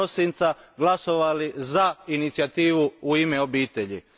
1. prosinca glasovali za inicijativu U ime obitelji.